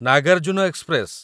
Nagarjuna express